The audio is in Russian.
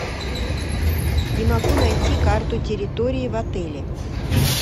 не могу найти карту территории в отеле